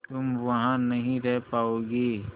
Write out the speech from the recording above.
तुम वहां नहीं रह पाओगी